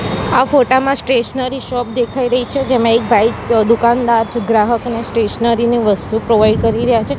આ ફોટા માં સ્ટેશનરી શોપ દેખાય રહી છે જેમાં એક ભાઈ દુકાનદાર છે ગ્રાહકને સ્ટેશનરી ની વસ્તુ પ્રોવાઇડ કરી રહ્યા છે.